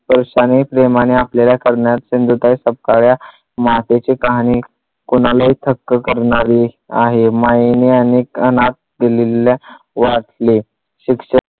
परिस्तानी प्रेमाने आपल्याला करणाऱ्या सिंधुताई सपकाळ या मातेची कहाणी कुणालाही थक्क करणारी आहे मायेने आणि अनाथ दिलेल्या वाचले शिक्ष